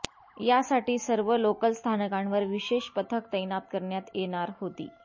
यासाठी सर्व लोकल स्थानकांवर विशेष पथक तैनात करण्यात येणार होती